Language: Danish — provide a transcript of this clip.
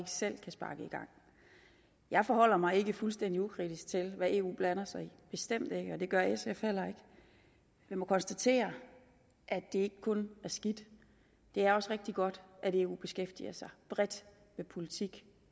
selv kan sparke i gang jeg forholder mig ikke fuldstændig ukritisk til hvad eu blander sig i bestemt ikke og det gør sf heller ikke vi må konstatere at det ikke kun er skidt det er også rigtig godt at eu beskæftiger sig bredt med politik